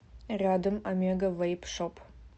рядом омега вэйп шоп